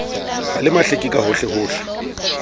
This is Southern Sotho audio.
ho le mahleke ka hohlehohle